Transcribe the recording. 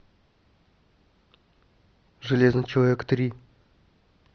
железный человек три